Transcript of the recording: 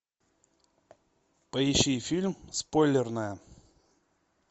поищи фильм спойлерная